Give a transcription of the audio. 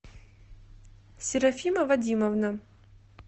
серафима вадимовна